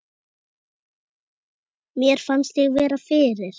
Mér fannst ég vera fyrir.